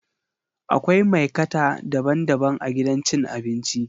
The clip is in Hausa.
Akwai maikata daban-daban a gidan cin abinci